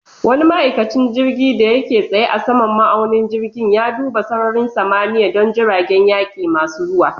Wani ma'aikacin jirgin da yake tsaye a saman ma'aunin jirgin, ya duba sararin samaniya don jiragen yaƙi masu zuwa.